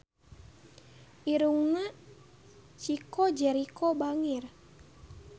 Irungna Chico Jericho bangir